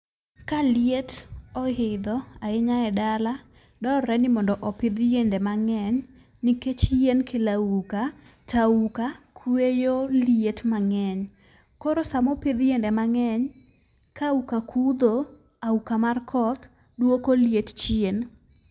Kaliet oidho ahinya edala, dwarre ni mondo opidh yiende mang'eny, nikech yien kelo auka to auka kweyo liet mang'eny. Koro sama opidh yiende mang'eny, ka auka kudho, auka mar koth, duoko liet chien.